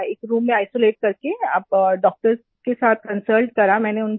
एक रूम में आइसोलेट करके डॉक्टर्स के साथ कंसल्ट करा मैंने उनसे